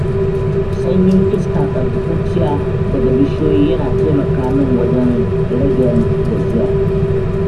Sanyin iska tsaftatacciya daga bishiyoyi, yana taimaka min wajen ragen gajiya.